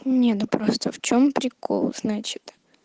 не ну просто в чём прикол значит